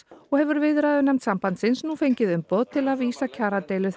og hefur viðræðunefnd sambandsins nú fengið umboð til að vísa kjaradeilu